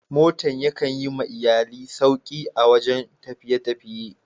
Motan ya kan Yi ma iyallai sauki a wajen tafiye-tafiye.